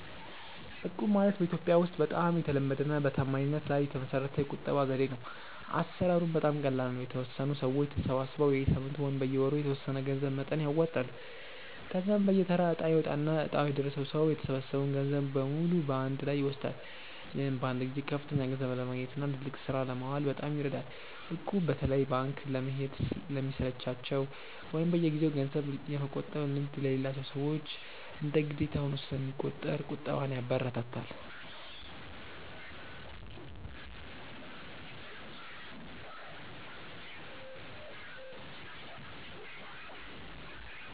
እቁብ ማለት በኢትዮጵያ ውስጥ በጣም የተለመደና በታማኝነት ላይ የተመሰረተ የቁጠባ ዘዴ ነው። አሰራሩም በጣም ቀላል ነው፤ የተወሰኑ ሰዎች ተሰባስበው በየሳምንቱ ወይም በየወሩ የተወሰነ የገንዘብ መጠን ያዋጣሉ። ከዚያም በየተራ እጣ ይወጣና እጣው የደረሰው ሰው የተሰበሰበውን ገንዘብ በሙሉ በአንድ ላይ ይወስዳል። ይህም በአንድ ጊዜ ከፍተኛ ገንዘብ ለማግኘትና ለትልቅ ስራ ለማዋል በጣም ይረዳል። እቁብ በተለይ ባንክ ለመሄድ ለሚሰለቻቸው ወይም በየጊዜው ገንዘብ የመቆጠብ ልምድ ለሌላቸው ሰዎች እንደ ግዴታ ሆኖ ስለሚቆጥር ቁጠባን ያበረታታል።